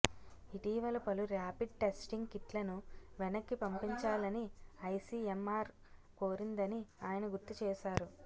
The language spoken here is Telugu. ఇటీవల పలు ర్యాపిడ్ టెస్టింగ్ కిట్లను వెనక్కి పంపించాలని ఐసీఎంఆర్ కోరిందని ఆయన గుర్తు చేశారు